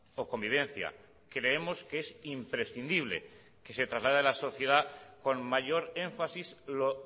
o convivencia creemos que es imprescindible que se traslade a la sociedad con mayor énfasis lo